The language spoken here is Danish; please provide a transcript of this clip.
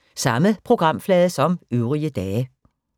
Samme programflade som øvrige dage